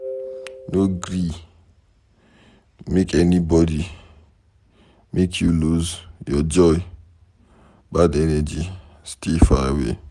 No gree make anybody make you lose your joy, bad energy stay far away.